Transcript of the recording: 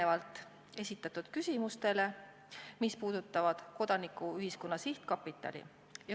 Vastan esitatud küsimustele, mis puudutavad Kodanikuühiskonna Sihtkapitali.